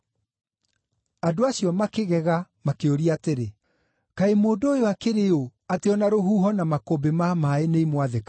Andũ acio makĩgega, makĩũria atĩrĩ, “Kaĩ mũndũ ũyũ akĩrĩ ũ atĩ o na rũhuho na makũmbĩ ma maaĩ nĩimwathĩkagĩra?”